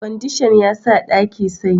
Kwandishan ya sa ɗaki sanyi